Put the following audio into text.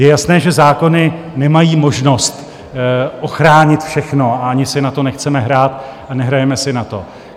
Je jasné, že zákony nemají možnost ochránit všechno, a ani si na to nechceme hrát a nehrajeme si na to.